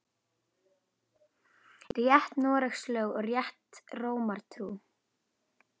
Rétt Noregs lög og rétta Rómar trú